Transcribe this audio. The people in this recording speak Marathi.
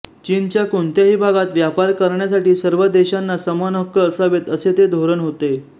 चीनच्या कोणत्याही भागात व्यापार करण्यासाठी सर्व देशांना समान हक्क असावेत असे ते धोरण होते